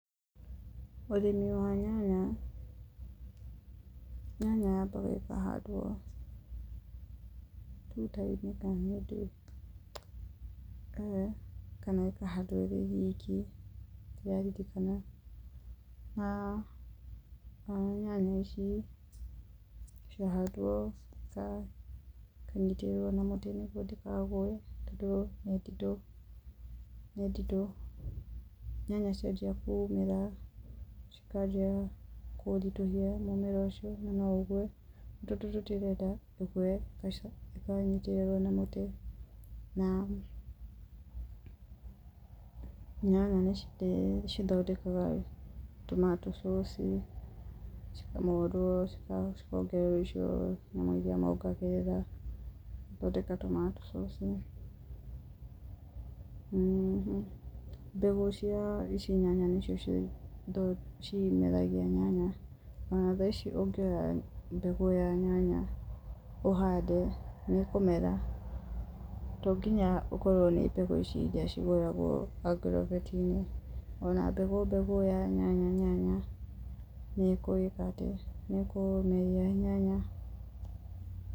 Ũrĩmi wa nyanya, nyanya yambaga ĩkahandwo tuta-inĩ kana ĩkahandwo ĩrĩ iki, nyanya ici ciahandwo ikanyitĩrĩrwo na mũtĩ nĩguo itikagwe, tondũ nĩ nditũ, nyanya ciambia kumĩra, cikanjia kũritũhia mũmera ũcio na no ũgũe, rĩu tondũ tũtirenda ũgũe ĩkanyitĩrĩrwo na mũtĩ, na nyanya nĩ cithondekaga tomato sauce cikamondwo, cikongererwo nyamũ icio mongagĩrĩra, gũthondeka tomato sauce. Mbegũ cia ici nyanya nĩcio cimeragia nyanya, ona thaa ici ũngĩoya mbegũ ya nyanya, ũhande nĩ ũkũmera, tonginya ũkorwo nĩ mbegũ ici iria cigũragwo agroveti-inĩ, ona mbegũ, mbegũ ya nyanya nĩ ĩkũmeria nyanya.